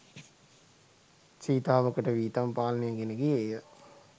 සීතාවකට වී තම පාලනය ගෙන ගියේය